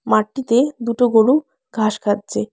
মাঠটিতে দুটো গরু ঘাস খাচ্ছে।